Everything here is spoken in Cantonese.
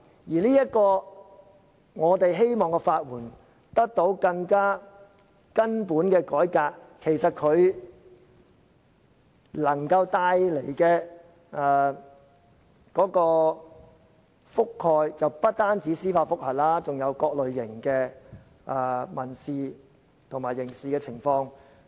而我們希望法援制度得到更根本的改革，能夠覆蓋不單司法覆核個案，還有各類型的民事和刑事訴訟。